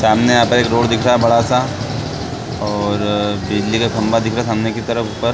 सामने यहाँ पर एक रोड दिख रहा है बड़ा सा और बिजली का खंम्भा दिख रहा है खंभे की तरफ ऊपर --